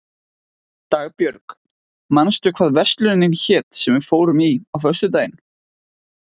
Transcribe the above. Dagbjörg, manstu hvað verslunin hét sem við fórum í á föstudaginn?